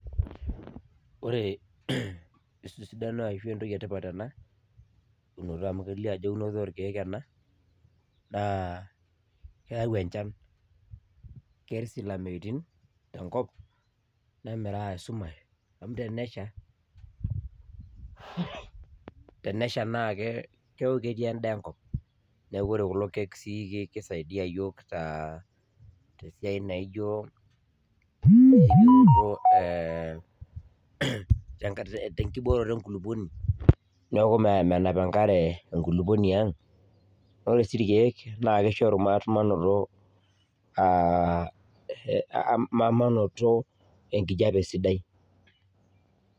Ore esidano ashu entoki etipat ena eunoto amu kelio ajo eunoto orkiek ena naa keyau enchan , ketii sii ilameutin enkop nemiraa esumash amu tenesha naa keaku ketii endaa enkop . Niaku ore kulo kiek kisadia iyiook aa tesiai naijo enkibooroto enkulupuoni niaku menap enkare enkulukuoni ang. Naa ore si irkiek naa kishoru maa , kishoru manoto enkijape sidai .